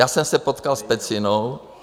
Já jsem se potkal s Pecinou.